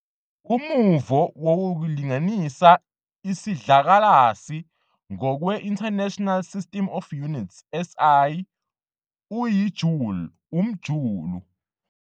Umuvo wokulinganisa isidlakalasi ngokweInternational System of Units, SI, uyi- "joule", umjulu.